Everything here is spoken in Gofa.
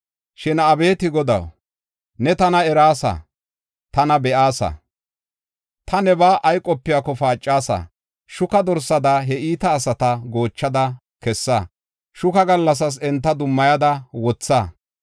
Shin abeeti Godaw, ne tana eraasa; tana be7aasa; ta nebaa ay qopiyako paacasa. Shuka dorsada, he iita asata goochada kessa; shuka gallasas enta dummayada wotha.